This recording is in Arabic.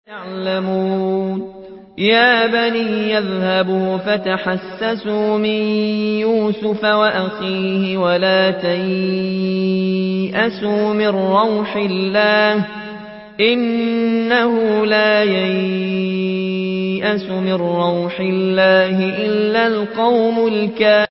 يَا بَنِيَّ اذْهَبُوا فَتَحَسَّسُوا مِن يُوسُفَ وَأَخِيهِ وَلَا تَيْأَسُوا مِن رَّوْحِ اللَّهِ ۖ إِنَّهُ لَا يَيْأَسُ مِن رَّوْحِ اللَّهِ إِلَّا الْقَوْمُ الْكَافِرُونَ